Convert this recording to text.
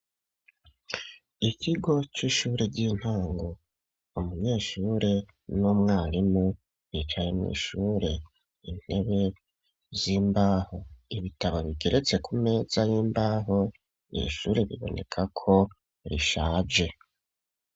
Ikigo c'ishure ry'intango umunyeshure n'umwarimu bicaye mw'ishure intebe z'imbaho ibitabo bigeretse ku meza y'imbaho irishure bibonekako bishaje.